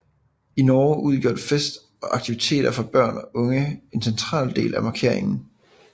I Norge udgør fest og aktiviteter for børn og unge en central del af markeringen